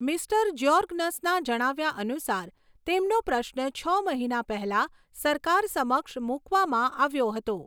Mister જ્યોર્ગનસના જણાવ્યા અનુસાર, તેમનો પ્રશ્ન છ મહિના પહેલા સરકાર સમક્ષ મૂકવામાં આવ્યો હતો.